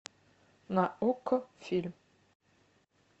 на окко фильм